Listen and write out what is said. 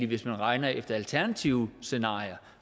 hvis man regner efter alternative scenarier